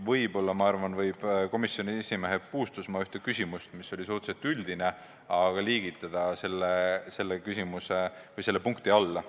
Võib-olla võib komisjoni esimehe Puustusmaa ühe suhteliselt üldise küsimuse liigitada selle punkti alla.